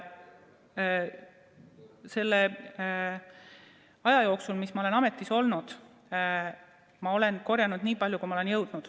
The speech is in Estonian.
Selle aja jooksul, mis ma olen ametis olnud, olen ma korjanud nii palju ideid, kui olen jõudnud.